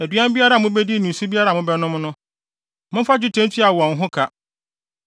Aduan biara a mubedi ne nsu biara a mobɛnom no, momfa dwetɛ ntua wɔn ho ka.’ ”